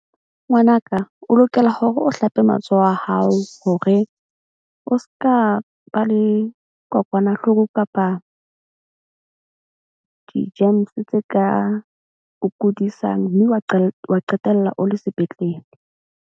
Ngwanaka o lokela hore o hlape matsoho a hao hore o ska ba le kokwanahloko. Kapa di-germs tse ka o kudisang mme wa wa qetella o le sepetlele.